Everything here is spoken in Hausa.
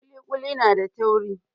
Ƙuli ƙuli na da tauri.